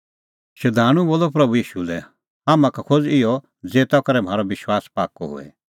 शधाणूं बोलअ प्रभू ईशू लै हाम्हां का खोज़ इहअ ज़ेता करै म्हारअ विश्वास पाक्कअ होए